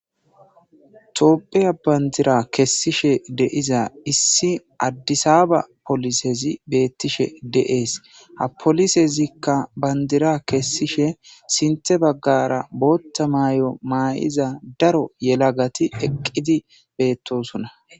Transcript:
toophiya bandira kessishe de'iza issi addisaba polisezi beettishe de'ees ha polisezikka bandira kessishe sinthe baggara bootta maay7o maa7iza daro yelagati eqqidi beettosonna